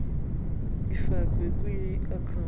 ifakwe kwi account